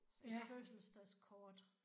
Et fødselsdagskort